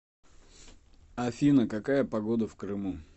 афина какая погода в крыму